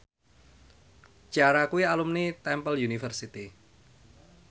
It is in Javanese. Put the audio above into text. Ciara kuwi alumni Temple University